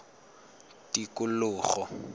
tikologo